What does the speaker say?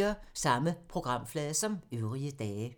Samme programflade som øvrige dage